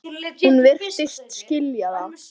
Hún virtist skilja það.